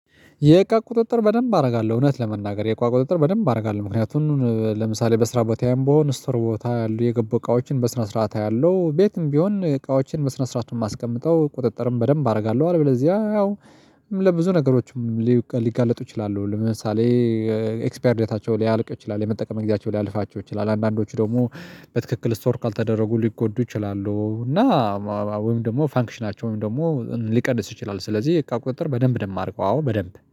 የእቃ ቁጥጥር በደንብ አደርጋለሁ እውነት ለመናገር የእቃ ቁጥጥር በደንብ አደርጋለሁ። ምክንያቱም ለምሳሌ በስራ ቦታዬም ብሆን ስቶር ቦታ ያሉ የገቡ እቃዎችን በስነ ስርዓት አያለሁ ቤትም ቢሆን እቃዎችን በስነ ስርዓት ነው የማስቀምጠው ቁጥጥርም በደንብ አደርጋለሁ። አለ በለዚያ ያው ለብዙ ነገሮችም ሊጋለጡ ይችላሉ። ለምሳሌ ኤክስፓየርዴታቸው ሊያልቅ ይችላል የመጠቀሚያ ጊዜያቸው ሊያልፋቸው ይችላል። አንዳንዶቹ ደግሞ በትክክል ስቶር ካልተደረጉ ሊጎዱ ይችላሉ። እና ወይም ደግሞ ፈንክሽናቸው ወይም ደግሞ ሊቀንስ ይችላል። ስለዚህ የእቃ ቁጥጥር በደንብ ደም ማረገው አዎ በደንብ